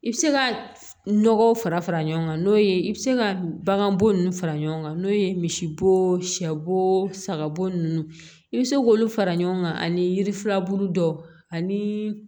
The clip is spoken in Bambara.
I bɛ se ka nɔgɔw fara fara ɲɔgɔn kan n'o ye i bɛ se ka baganbo ninnu fara ɲɔgɔn kan n'o ye misibo sɛ bo sagabo nun i bɛ se k'olu fara ɲɔgɔn kan ani yirifurabulu dɔw ani